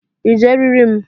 I ji eriri m?